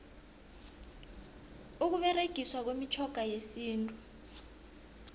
ukuberegiswa kwemitjhoga yesintu